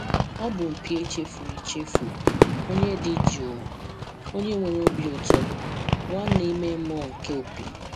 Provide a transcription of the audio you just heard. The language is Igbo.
Ọ bụ mpi echefuru echefu, onye dị jụụ, onye nwere obi ụtọ, nwanne ime mmụọ nke opi."